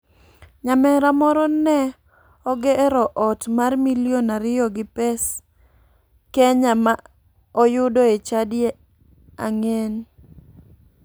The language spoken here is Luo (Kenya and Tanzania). Nyamera moro ne ogero ot mar milion ariyo gi pes kenya ma oyudo e chadi ang'en.